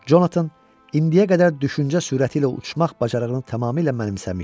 Jonathan indiyə qədər düşüncə sürəti ilə uçmaq bacarığını tamamilə mənimsəmişdi.